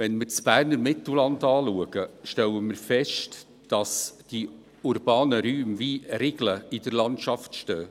Wenn wir das Berner Mittelland anschauen, stellen wir fest, dass die urbanen Räume wie Riegel in der Landschaft stehen.